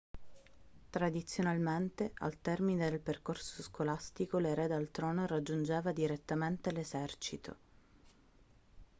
tradizionalmente al termine del percorso scolastico l'erede al trono raggiungeva direttamente l'esercito